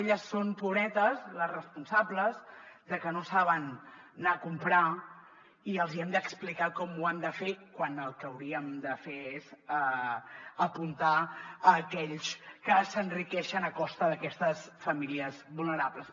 elles són pobretes les responsables de que no saben anar a comprar i els hi hem d’explicar com ho han de fer quan el que hauríem de fer és apuntar a aquells que s’enriqueixen a costa d’aquestes famílies vulnerables